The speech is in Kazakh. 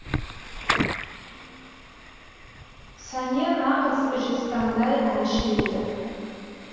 сәния нағыз жезтаңдай әнші еді